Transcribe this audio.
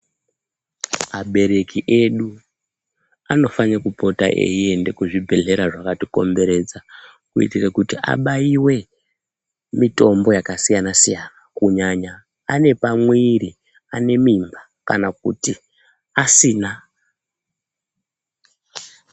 Abereki edu anofanire kupota eienda kuzvibhedhlera zvakatikomberedza kuitire kuti abaiwe mitombo yakasiyana siyana kunyanya ane pamwiri, anemimba kana kuti asina.